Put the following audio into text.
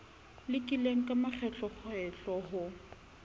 lekile ka makgetlokgetlo ho o